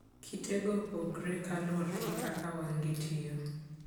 Kitego opogore kaluwore gi kaka wang'gi tiyo.